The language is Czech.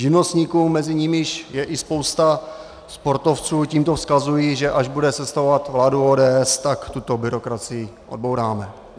Živnostníkům, mezi nimiž je i spousta sportovců, tímto vzkazuji, že až bude sestavovat vládu ODS, tak tuto byrokracii odbouráme.